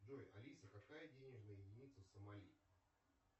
джой алиса какая денежная единица в сомали